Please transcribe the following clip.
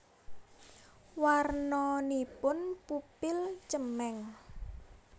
Warnanipun pupil cemeng